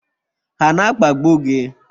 Ha na akpagbu gị?